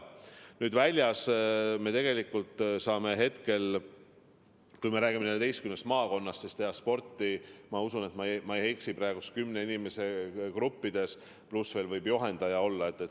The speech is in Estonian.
Nüüd, väljas me tegelikult saame, kui me räägime 14 maakonnast, teha sporti – ma usun, et ma ei eksi praegu – kümne inimese gruppides, pluss veel võib juhendaja olla.